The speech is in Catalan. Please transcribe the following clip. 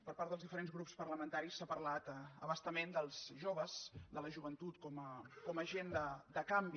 per part dels diferents grups parlamentaris s’ha parlat a bastament dels joves de la joventut com a agent de canvi